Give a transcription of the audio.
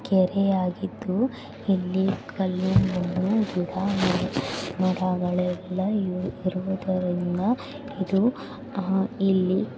ಕೆರೆಯಾಗಿದ್ದು ಇಲ್ಲಿ ಕಲ್ಲು ಮಣ್ಣು ಗಿಡ ಮರಗಳೆಲ್ಲ ಇವೆ. ಇರುವುದರಿಂದ ಇದು ಹಾ ಇಲ್ಲಿ--